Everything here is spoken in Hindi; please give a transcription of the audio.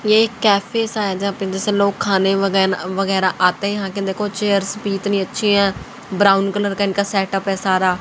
ये एक कैफे सा है जहां पे जैसे लोग खाने वगैरह वगैरा आते हैं यहां की देखो चेयर इतनी अच्छी है ब्राउन कलर का इनका सेटअप है सारा।